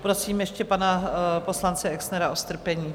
Prosím ještě pana poslance Exnera o strpení.